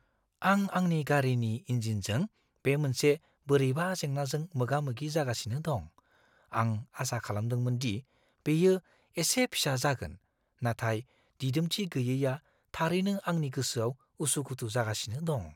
आं आंनि गारिनि इन्जिनजों बे मोनसे बोरैबा जेंनाजों मोगा-मोगि जागासिनो दं। आं आसा खालामदोंमोन दि बेयो एसे फिसा जागोन, नाथाय दिदोमथि गैयैआ थारैनो आंनि गोसोआव उसुखुथु जागासिनो दं।